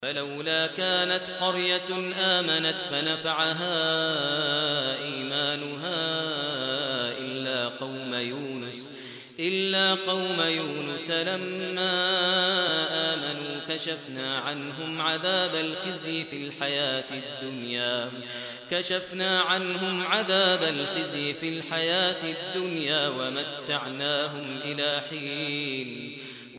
فَلَوْلَا كَانَتْ قَرْيَةٌ آمَنَتْ فَنَفَعَهَا إِيمَانُهَا إِلَّا قَوْمَ يُونُسَ لَمَّا آمَنُوا كَشَفْنَا عَنْهُمْ عَذَابَ الْخِزْيِ فِي الْحَيَاةِ الدُّنْيَا وَمَتَّعْنَاهُمْ إِلَىٰ حِينٍ